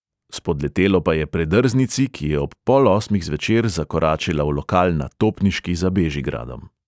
Spodletelo pa je predrznici, ki je ob pol osmih zvečer zakoračila v lokal na topniški za bežigradom.